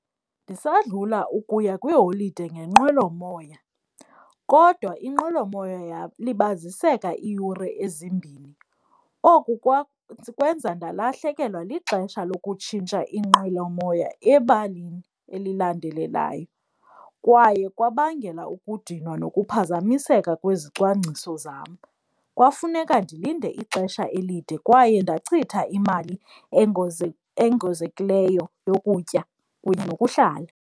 Ndisadlula ukuya kwiiholide ngenqwelomoya, kodwa inqwelomoya yalibaziseka iiyure ezimbini. Oku kwenza ndalahlekelwa lixesha lokutshintsha inqwelomoya ebalini elilandelelayo. Kwaye kwabangela ukudinwa nokuphazamiseka kwizicwangciso zam, kwafuneka ndilinde ixesha elide kwaye ndachitha imali engozekileyo yokutya kunye nokuhlala.